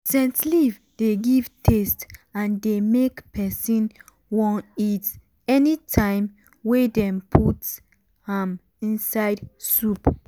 scent leaf dey give taste and dey make person wan eat anytime wey dem put am inside soup.